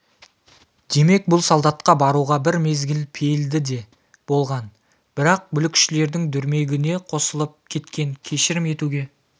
демек бұл солдатқа баруға бір мезгіл пейілді де болған бірақ бүлікшілдердің дүрмегіне қосылып кеткен кешірім етуге